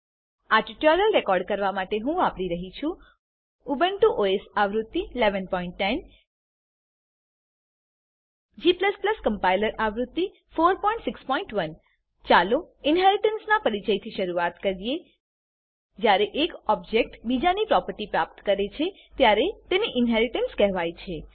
આ tutorial record કરવા માટે હું વાપરી રહ્યો છું ઉબુન્ટુ ઓએસ આવૃત્તિ 1110 g કમ્પાઈલર આવૃત્તિ 461 ચાલો ઇનહેરીટન્સનાં પરિચયથી શરૂઆત કરીએ જ્યારે એક ઓબજેક્ટ બીજાની પ્રોપર્ટી પ્રાપ્ત કરે છે ત્યારે તેને ઇનહેરીટન્સ કહેવાય છે